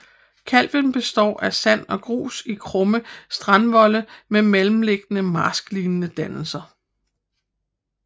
Kalven består af sand og grus i krumme strandvolde med mellemliggende marsklignende dannelser